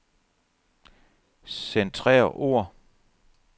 Centrer ord.